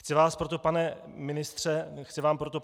Chci vám proto, pane ministře, položit dvě otázky.